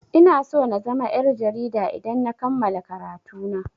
Ina so na zama yar' jarida idan na kammala karatu na.